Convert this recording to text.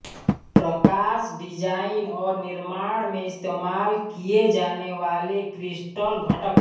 प्रकाश design और निर्माण में इस्तेमाल किये जाने वाले क्रिस्टल घटक